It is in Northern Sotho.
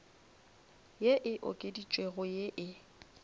ye e okeditšwego ye e